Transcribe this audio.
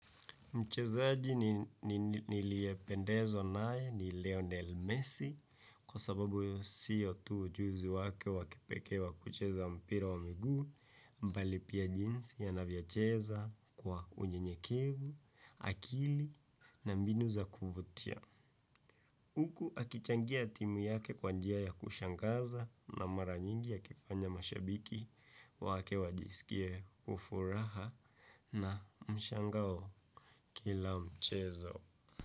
Mchezaaji niliependezwa nae ni Leonel Messi kwa sababu sio tu ujuzi wake wakipekewa kucheza mpira wa migu mbali pia jinsi ya anavyocheza kwa unye nyekevu, akili na mbinu za kuvutia. Uku akichangia timu yake kwanjia ya kushangaza na maranyingi akifanya mashabiki wake wajisikie kufuraha na mshangao kila mchezo.